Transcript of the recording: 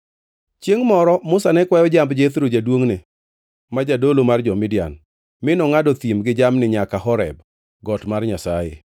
Chiengʼ moro Musa ne kwayo jamb Jethro jaduongʼne ma Jadolo mar jo-Midian, mi nongʼado thim gi jamni nyaka Horeb got mar Nyasaye.